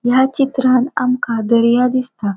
या चित्रांत आमका दर्या दिसता.